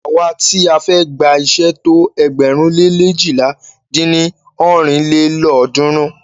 Àwa ti a fẹ́ gba iṣé tó ẹgbẹ̀rún le leéjìlá dín ní ọ́rin lélọ́ọ̀dúnrún.